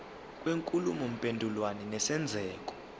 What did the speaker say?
kwenkulumo mpendulwano nesenzeko